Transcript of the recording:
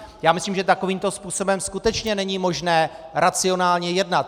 Já myslím, že takovýmto způsobem skutečně není možné racionálně jednat.